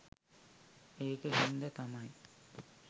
ඒක හින්ද තමයි